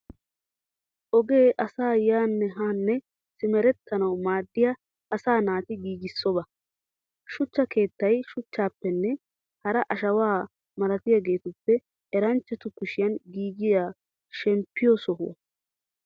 Ogee asay yaanne ha simeretanawu maadiya asaa naati giigissidobaa. Shuchcha keettay shuchchappenne hara ashaawaa malatiyaageetuppe eranchatu kushiyan giigiyaa shemppiyoo sohuwaa.